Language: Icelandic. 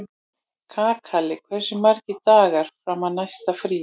Kakali, hversu margir dagar fram að næsta fríi?